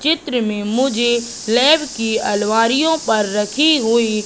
चित्र में मुझे लैब की अलमारियो पर रखी हुई--